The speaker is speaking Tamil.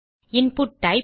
input type